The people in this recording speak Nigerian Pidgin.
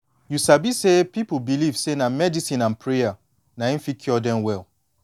you sabi say pipu believe say na medicine and prayer na em fit cure dem well